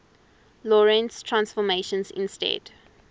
lorentz transformations instead